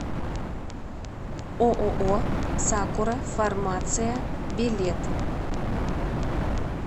ооо сакура фармация билет